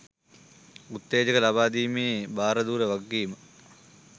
උත්තේජන ලබා දීමේ භාරධූර වගකීම